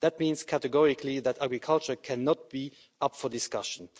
That means categorically that agriculture cannot be up for discussion.